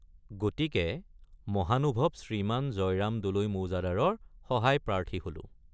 গতিকে মহানুভৱ শ্ৰীমান জয়ৰাম দলৈ মৌজাদাৰৰ সহায়প্ৰাৰ্থী হলোঁ।